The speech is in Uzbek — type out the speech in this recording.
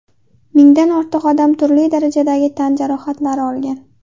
Mingdan ortiq odam turli darajadagi tan jarohatlari olgan.